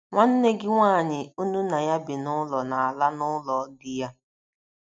Nwanne gị nwaanyị unu na ya bi n’ụlọ na - ala n’ụlọ di ya.